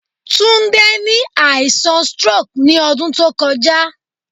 Tunde ni aisan stroke ni ọdun to kọja